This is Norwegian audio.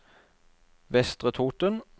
Vestre Toten